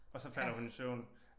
Og så falder hun i søvn